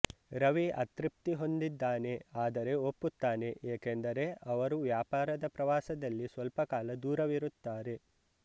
ರವಿ ಅತೃಪ್ತಿ ಹೊಂದಿದ್ದಾನೆ ಆದರೆ ಒಪ್ಪುತ್ತಾನೆ ಏಕೆಂದರೆ ಅವರು ವ್ಯಾಪಾರದ ಪ್ರವಾಸದಲ್ಲಿ ಸ್ವಲ್ಪ ಕಾಲ ದೂರವಿರುತ್ತಾರೆ